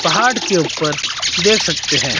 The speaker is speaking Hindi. पहाड़ के ऊपर देख सकते हैं।